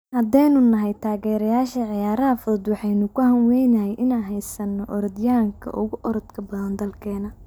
Haddaanu nahay taageerayaasha ciyaaraha fudud waxaanu ku hanweynahay inaanu haysano orodyahanka ugu orodka badan dalkeena.